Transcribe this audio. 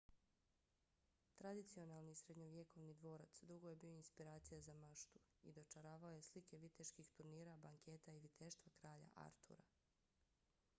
tradicionalni srednjovjekovni dvorac dugo je bio inspiracija za maštu i dočaravao je slike viteških turnira banketa i viteštva kralja artura